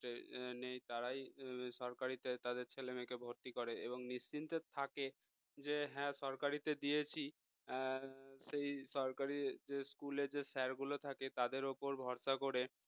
হম নেই তারাই সরকারিতে তাদের ছেলেমেয়েকে ভর্তি করে এবং নিশ্চিন্তে থাকে যে হ্যাঁ সরকারিতে দিয়েছি সেই সরকারি school এর sir গুলো থাকে তাদের ওপর ভরসা করে